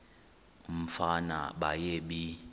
umfana baye bee